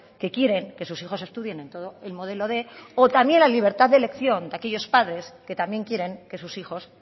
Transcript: que quieren que sus hijos estudien en todo el modelo quinientos o también la libertad de elección de aquellos padres que también quieren que sus hijos